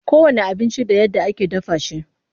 Kowanne abinci da yadda ake dafa shi.